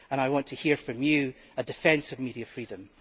I want to hear from you a defence of media freedom.